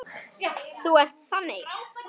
Þú ert þannig.